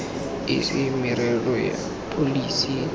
e se merero ya pholesi